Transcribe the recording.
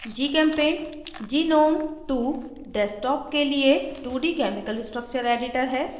gchempaint gnome2 desktop के लिए 2d chemical structure editor है